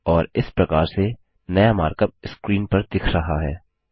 और इस प्रकार से नया मार्कअप स्क्रीन पर दिख रहा है